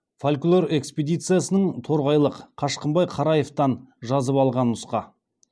фольклор экспедициясының торғайлық қашқынбай қараевтан жазып алған нұсқа